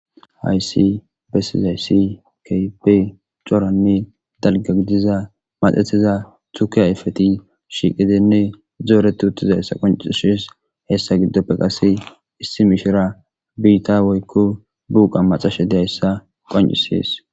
Haysi besizaysi kybey coranne dalga gidiza madetiza tuki hayfeti shiqidenne zooreti uttizayssa qoncishes heessa giddoppe qase issi mishira biitta woykko buuqa macashe dehayssa qon7isees.